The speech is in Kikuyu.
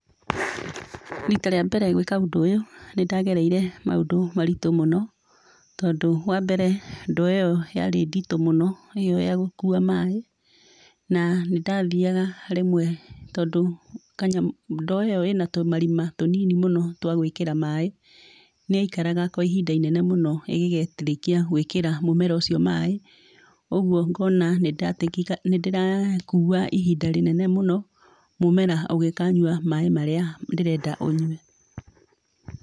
Rita rĩa mbere gwĩka ũndũ ũyũ nĩndagereire maũndũ maritũ mũno tondũ wa mbere, ndoo ĩyo yarĩ nditũ mũno ĩyo ya gũkua maaĩ. Na nĩndathiyaga rĩmwe tondũ ndoo ĩyo ĩna tũmarima tũnini mũno twa gwĩkĩra maaĩ nĩyaikaraga kwa ihinda inene mũno ĩngĩgakĩrĩkia gwĩkĩra mũmera ũcio maaĩ, ũguo ngona nĩndĩrakua ihinda inene mũno mũmera ũngĩkanyua maaĩ marĩa ndĩrenda ũyue.